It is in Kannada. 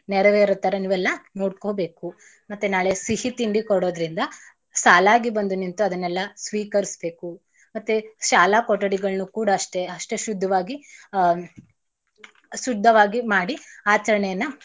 ನೆರವೇರೋ ತರಾ ನೀವೆಲ್ಲಾ ನೋಡ್ಕೋಬೇಕು. ಮತ್ತೇ ನಾಳೆ ಸಿಹಿ ತಿಂಡಿ ಕೊಡೋದ್ರಿಂದ ಸಾಲಾಗಿ ಬಂದು ನಿಂತು ಅದನೆಲ್ಲ ಸ್ವೀಕರ್ಸ್ಬೇಕು ಮತ್ತೇ ಶಾಲಾ ಕೊಠಡಿಗಳ್ನೂ ಕೂಡ ಅಷ್ಟೆ ಅಷ್ಟೇ ಶುದ್ಧವಾಗಿ ಆಹ್ ಶುದ್ದವಾಗಿ ಮಾಡಿ ಆಚರಣೆಯನ್ನ.